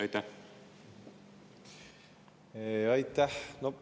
Aitäh!